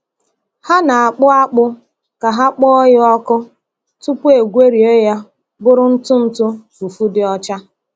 Ha na-akpụ akpụ ka ha kpọọ ya ọkụ, tupu egwerie ya bụrụ ntụ ntụ fufu dị ọcha.